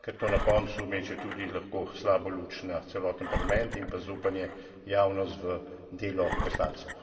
Ker to na koncu meče tudi lahko slabo luč na celoten Parlament in pa zaupanje javnost v delo poslancev.